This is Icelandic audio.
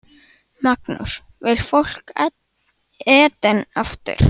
Magnús: Vill fólk Eden aftur?